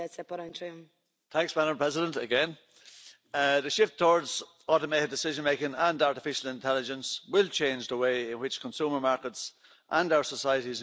Madam President, the shift towards automated decision making and artificial intelligence will change the way in which consumer markets and our societies in general function.